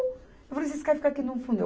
Eu falei, vocês querem ficar aqui no fundo?